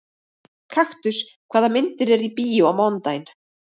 Kaktus, hvaða myndir eru í bíó á mánudaginn?